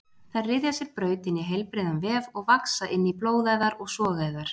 Þær ryðja sér braut inn í heilbrigðan vef og vaxa inn í blóðæðar og sogæðar.